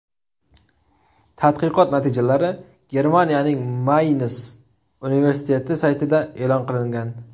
Tadqiqot natijalari Germaniyaning Mayns universiteti saytida e’lon qilingan .